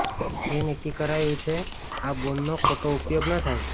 એ નક્કી કરાયું છે કે આ બોન્ડનો ખોટો ઉપયોગ ન થાય